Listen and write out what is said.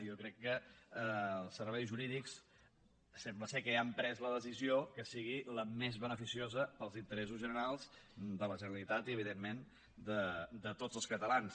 jo crec que els serveis jurídics sembla que ja han pres la decisió que sigui la més beneficiosa per als interessos generals de la generalitat i evidentment de tots els catalans